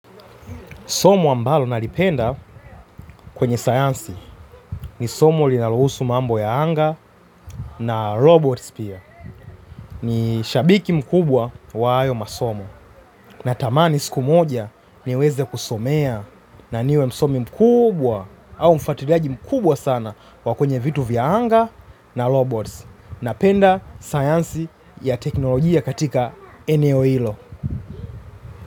Somo ambalo nalipenda kwenye sayansi ni somo linalohusu mambo ya anga na robots pia. Ni shabiki mkubwa wa hayo masomo. Natamani siku moja niweze kusomea na niwe msomi mkubwa au mfatiliaji mkubwa sana wa kwenye vitu vya anga na robots. Napenda sayansi ya teknolojia katika eneo hilo.